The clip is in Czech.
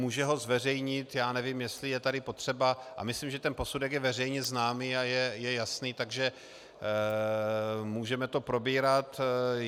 Může ho zveřejnit - já nevím, jestli je tady potřeba - a myslím, že ten posudek je veřejně známý a je jasný, takže můžeme to probírat.